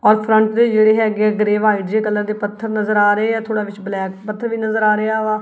ਔਰ ਫਰੰਟ ਦੇ ਜਿਹੜੇ ਹੈਗੇ ਗ੍ਰੇਯ ਵਾਈਟ ਤੇ ਕਲਰ ਦੇ ਪੱਥਰ ਨਜ਼ਰ ਆ ਰਹੇ ਆ ਥੋੜਾ ਵਿੱਚ ਬਲੈਕ ਪੱਥਰ ਵੀ ਨਜ਼ਰ ਆ ਰਿਹਾ ਵਾ।